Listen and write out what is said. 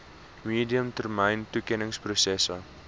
medium termyn toekenningsproses